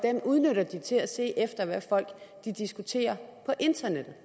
udnytter den til at se efter hvad folk diskuterer på internettet